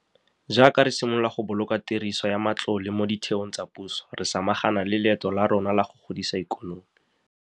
Jaaka re simolola go boloka tiriso ya matlole mo ditheong tsa puso, re samagana le leeto la rona la go godisa ikonomi.